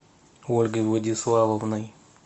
ольгой владиславовной